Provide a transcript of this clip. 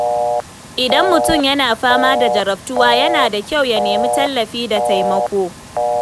Idan mutum yana fama da jarabtuwa, yana da kyau ya nemi tallafi da taimako.